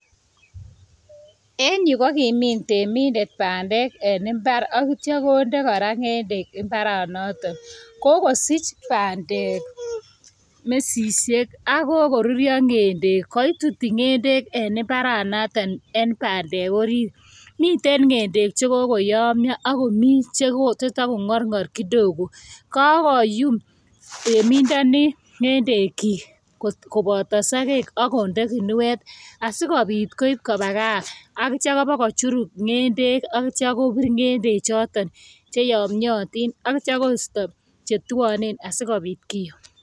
En yu kokimin temindet bandek en imbaar, chekonde kora ngedek imbaranotok. Kokosich bandek mesisiek, ako kokuryoo ngendek. Koitutii ngendek en imbaranotok, en bandek orit. Miten ngendek chekokoyomyo ako mi chetokongorngor kidogo. Kakoyum temindoni ngendekchik, kobotosogeek akonde ginuetAsikobiit koib koba gaa aityo ibakochuruk ngendek ak ityo kobir ngedechoton cheoyomyotin ak ityo koisto chetuonen asikobiit kiyoo